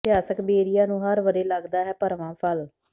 ਇਤਿਹਾਸਕ ਬੇਰੀਆਂ ਨੂੰ ਹਰ ਵਰ੍ਹੇ ਲੱਗਦਾ ਹੈ ਭਰਵਾਂ ਫਲ